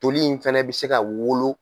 Toli in fɛnɛ bɛ se ka wolo.